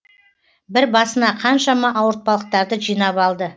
бір басына қаншама ауыртпалықтарды жинап алды